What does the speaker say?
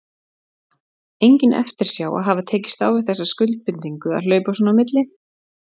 Una: Engin eftirsjá að hafa tekist á við þessa skuldbindingu að hlaupa svona á milli?